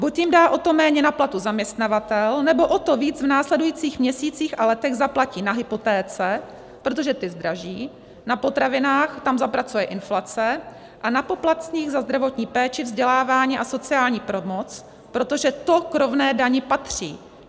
Buď jim dá o to méně na platu zaměstnavatel, anebo o to víc v následujících měsících a letech zaplatí na hypotéce, protože ty zdraží, na potravinách, tam zapracuje inflace, a na poplatcích za zdravotní péči, vzdělávání a sociální pomoc, protože to k rovné dani patří.